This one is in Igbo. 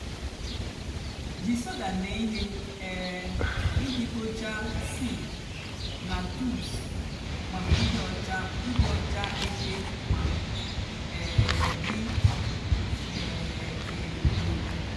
jí soda mée íhè um íjì kpochaa sink nà tubs mákà ịdị ọcha ịdị ọcha éké mà um dị um ìrè.